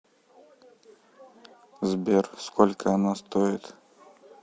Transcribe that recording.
сбер сколько она стоит